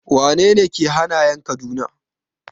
Wane ne ke hanayan Kaduna?